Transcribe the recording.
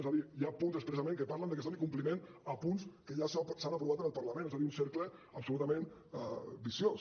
és a dir hi ha punts expressament que parlen de que es doni compliment a punts que ja s’han aprovat en el parlament és a dir un cercle absolutament viciós